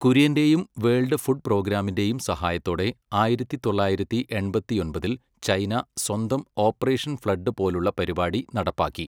കുര്യന്റെയും world food പ്രോഗ്രാമിന്റെയും സഹായത്തോടെ ആയിരത്തി തൊള്ളായിരത്തി എൺപത്തിയൊമ്പതിൽ ചൈന സ്വന്തം ഓപ്പറേഷൻ ഫ്ലഡ് പോലുള്ള പരിപാടി നടപ്പാക്കി.